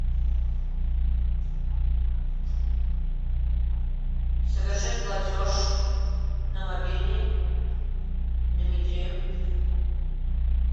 совершить платеж на мобильный дмитрию